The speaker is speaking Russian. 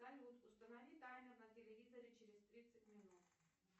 салют установи таймер на телевизоре через тридцать минут